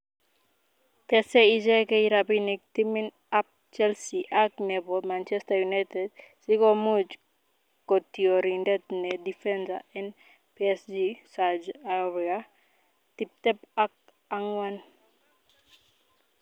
Tese icheget Rapinik timit abp Chelsea Ak nepo Manchester united sikomuch kotiorindet ne defender en Psg Serge Aurier, 24.